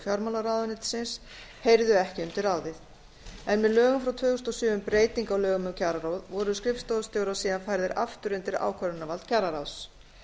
fjármálaráðuneytisins heyrðu ekki undir ráðið með lögum frá tvö þúsund og sjö um breytingu á lögum um kjararáð voru skrifstofustjórar síðan færðir aftur undir ákvörðunarvald kjararáðs